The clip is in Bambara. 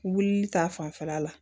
Wulili ta fanfɛla la